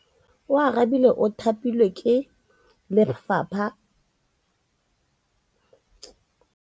Oarabile o thapilwe ke lephata la Gauteng.